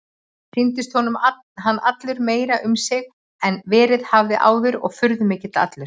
Sýndist honum hann allur meiri um sig en verið hafði áður og furðumikill allur.